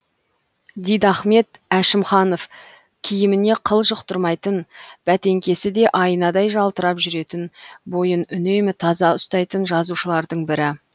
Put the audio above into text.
дидахмет әшімханов киіміне қыл жұқтырмайтын бәтеңкесі де айнадай жалтырап жүретін бойын үнемі таза ұстайтын жазушылардың бірі